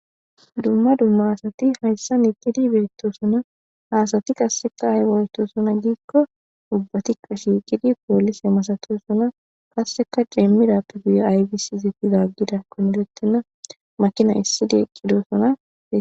Dumma dumma asati hayssa iqqidi beettosona hasati qasseka aywoytosona giikko ubbatikka shiiqidi poolise masatosona kasseka deemmidappe guya aybisi zeetizaaggidakkoneretenna makina issidi eqqidoosona.